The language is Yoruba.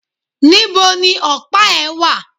Nibo ni ọ̀pá ẹ̀ wà?